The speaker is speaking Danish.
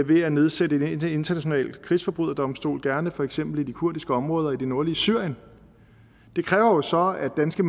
ved at nedsætte en international krigsforbryderdomstol gerne for eksempel i de kurdiske områder i det nordlige syrien det kræver jo så at danske